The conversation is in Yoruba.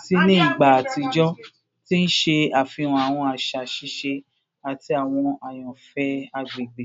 si ni igba atijọ, ti n ṣe afihan awọn aṣa sise ati awọn ayanfẹ agbegbe.